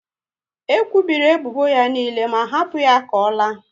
E kwubiri ebubo ya niile ma hapu ya ka ọ laa